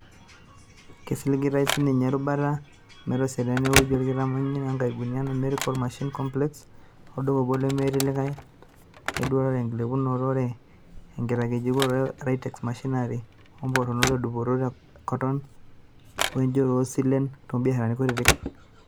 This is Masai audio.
Kesiligitay sininye erubata meitosidana eweji olkitamanyune o nkaibulu te Numerical Machining Complex (NMC), olduka obo lemetii likay leduaroto enkilepunoto ore enkitangejuko e Rivatex machinery o mponaroto edupoto e koton wenjoro oosilen toobiasharani kutiti.